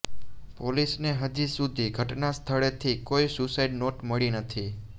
પોલીસને હજી સુધી ઘટનાસ્થળેથી કોઈ સુસાઈડ નોટ મળી નથી